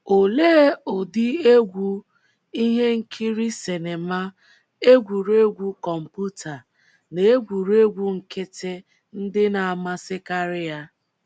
Olee ụdị egwú, ihe nkiri sinima, egwuregwu kọmputa, na egwuregwu nkịtị ndị na - amasịkarị ya?